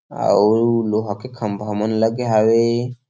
आऊ लोहा के खम्बा मन लगे हावे।